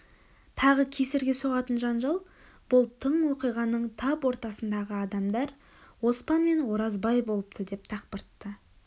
тағы кесірге соғатын жанжал бұл тың оқиғаның тап ортасындағы адамдар оспан мен оразбай болыпты осы дақпырты